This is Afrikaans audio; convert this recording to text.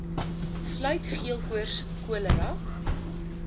sluit geelkoors cholera